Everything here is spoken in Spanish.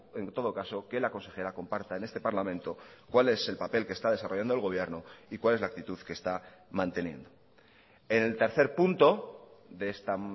en todo caso que la consejera comparta en este parlamento cuál es el papel que está desarrollando el gobierno y cuál es la actitud que está manteniendo en el tercer punto de esta